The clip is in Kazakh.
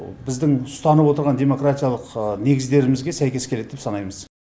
біздің ұстанып отырған демократиялық негіздерімізге сәйкес келеді деп санаймыз